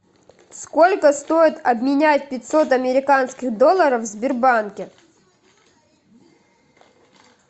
сколько стоит обменять пятьсот американских долларов в сбербанке